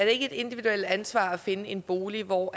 ikke et individuelt ansvar at finde en bolig hvor